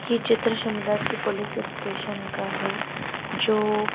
ये चित्र शिमला की पुलिस स्टेशन का है जो--